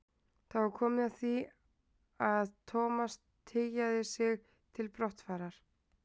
Það var komið að því að Thomas tygjaði sig til brottfarar.